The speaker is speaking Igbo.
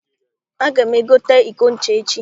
Aga m egote iko ncha echi.